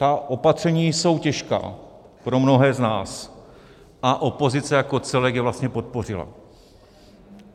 Ta opatření jsou těžká pro mnohé z nás a opozice jako celek je vlastně podpořila.